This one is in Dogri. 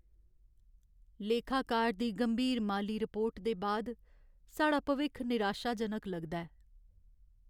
लेखाकार दी गंभीर माली रिपोर्ट दे बाद साढ़ा भविक्ख निराशाजनक लगदा ऐ।